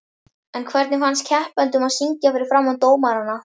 En hvernig fannst keppendunum að syngja fyrir framan dómarana?